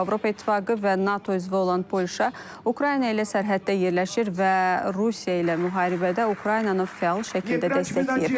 Avropa İttifaqı və NATO üzvü olan Polşa Ukrayna ilə sərhəddə yerləşir və Rusiya ilə müharibədə Ukraynanı fəal şəkildə dəstəkləyir.